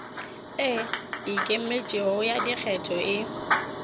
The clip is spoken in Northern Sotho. e ikemetšego ya dikgetho e